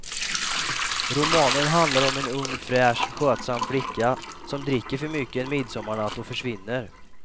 Romanen handlar om en ung fräsch, skötsam flicka som dricker för mycket en midsommarnatt och försvinner.